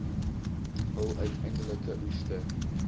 hul uiteindelike oeste